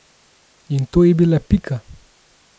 In to je bila Pika.